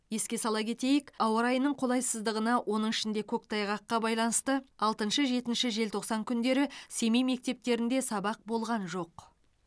еске сала кетейік ауа райының қолайсыздығына оның ішінде көктайғаққа байланысты алтыншы жетінші желтоқсан күндері семей мектептерінде сабақ болған жоқ